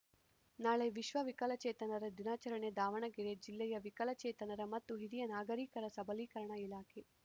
ನಾಳೆ ವಿಶ್ವ ವಿಕಲಚೇತನರ ದಿನಾಚರಣೆ ದಾವಣಗೆರೆ ಜಿಲ್ಲೆಯ ವಿಕಲಚೇತನರ ಮತ್ತು ಹಿರಿಯ ನಾಗರೀಕರ ಸಬಲೀಕರಣ ಇಲಾಖೆ